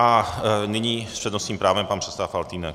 A nyní s přednostním právem pan předseda Faltýnek.